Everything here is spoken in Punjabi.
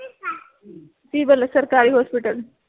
civil ਸਰਕਾਰੀ hospital